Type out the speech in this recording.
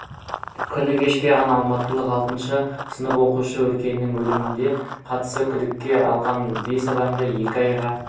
күні кеше ғана алматылық алтыншы сынып оқушысы өркеннің өліміне қатысты күдікке алынған бес адамды екі айға